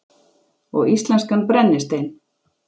Og íslenskan brennistein.